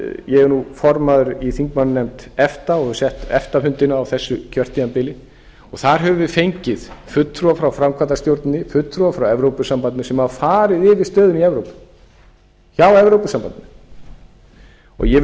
ég er nú formaður í þingmannanefnd efta og hef sett efta fundina á þessu kjörtímabili og þar höfum við fengið fulltrúa frá framkvæmdastjórninni fulltrúa frá evrópusambandinu sem hafa farið yfir stöðuna í evrópu hjá evrópusambandinu og ég vil með